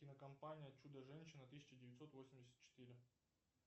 кинокомпания чудо женщина тысяча девятьсот восемьдесят четыре